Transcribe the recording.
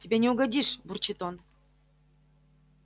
тебе не угодишь бурчит он